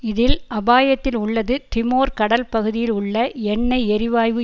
இதில் அபாயத்தில் உள்ளது திமோர் கடல் பகுதியில் உள்ள எண்ணெய் எரிவாயு